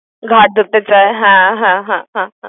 ঘাড় ধরতে চায় হ্যাঁ হ্যাঁ হ্যাঁ হ্যাঁ হ্যাঁ